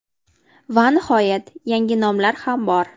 Va nihoyat yangi nomlar ham bor.